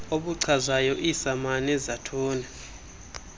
obuchazayo iisamani zathuny